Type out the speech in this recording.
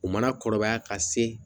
U mana kɔrɔbaya ka se